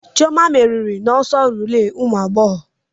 Chioma merìrì na ọsọ rilee ụmụ agbọghọ.